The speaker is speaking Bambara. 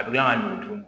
A bɛ kila ka ɲugu tuguni